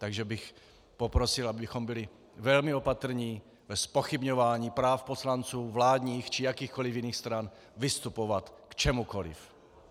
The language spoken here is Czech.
Takže bych poprosil, abychom byli velmi opatrní ve zpochybňování práv poslanců vládních či jakýchkoliv jiných stran vystupovat k čemukoliv.